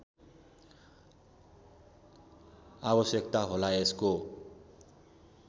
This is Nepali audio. आवश्यकता होला यसको